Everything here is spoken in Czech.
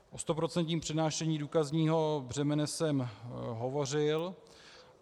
O stoprocentním přenášení důkazního břemene jsem hovořil.